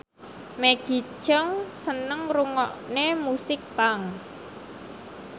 Maggie Cheung seneng ngrungokne musik punk